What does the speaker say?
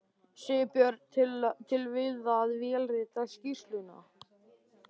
Sigurbjörn til við að vélrita skýrsluna.